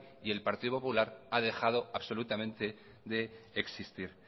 y el partido popular ha dejado absolutamente de existir